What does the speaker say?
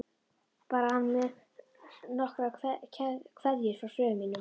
Bar hann mér nokkra kveðju frá föður mínum?